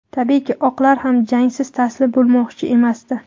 Tabiiyki, oqlar ham jangsiz taslim bo‘lmoqchi emasdi.